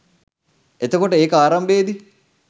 එතකොට ඒක ආරම්භයේදී